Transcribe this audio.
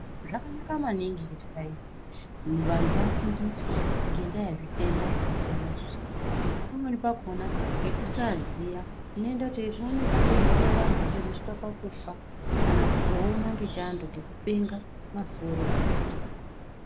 Zvakanaka maningi kuti dani vantu vafundiswe ngendaa yezvitenda zvakasiyana siyana. Pamweni pakhona ngekusaiziya, tinooneka teisiya vantu vechizosvike pakufa, kana kutooma ngechando ngekupenga masoro.